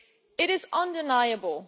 It is undeniable